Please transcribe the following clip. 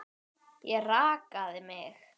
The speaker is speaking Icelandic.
Ég rakaði mig.